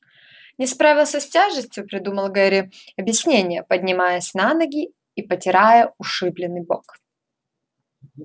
не справился с тележкой придумал гарри объяснение поднимаясь на ноги и потирая ушибленный бок